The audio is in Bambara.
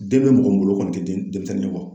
Den bɛ mɔgɔ min bolo o kɔni denmisɛnnin ye